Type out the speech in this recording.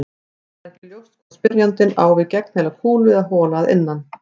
Það er ekki ljóst hvort spyrjandinn á við gegnheila kúlu eða hola að innan.